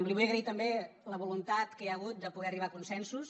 li vull agrair també la voluntat que hi ha hagut de poder arribar a consensos